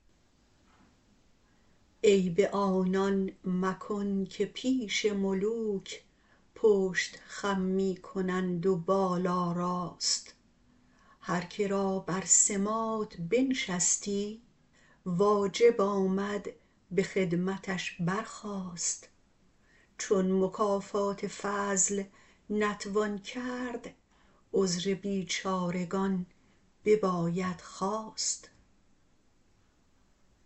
عیب آنان مکن که پیش ملوک پشت خم می کنند و بالا راست هر که را بر سماط بنشستی واجب آمد به خدمتش برخاست چون مکافات فضل نتوان کرد عذر بیچارگان بباید خواست